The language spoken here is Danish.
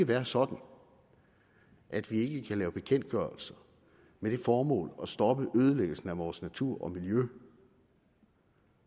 være sådan at vi ikke kan lave bekendtgørelser med det formål at stoppe ødelæggelsen af vores natur og miljø